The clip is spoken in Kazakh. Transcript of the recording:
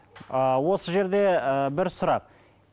ы осы жерде ы бір сұрақ